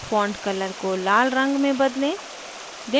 font color को लालरंग में बदलें